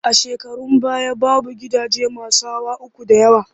A shekarun baya, babu gidaje masu hawa uku da yawa